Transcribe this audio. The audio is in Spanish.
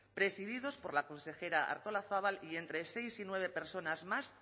presididos por la consejera artolazabal y entre seis y nueve personas más